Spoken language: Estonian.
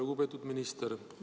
Lugupeetud minister!